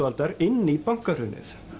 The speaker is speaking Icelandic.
aldar inn í bankahrunið